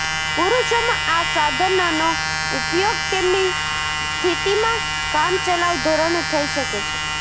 પુરુષોમાં આ સાધનનો ઉપયોગ તેમની સ્થિતિમાં કામચલાઉ ધોરણે થઈ શકે છે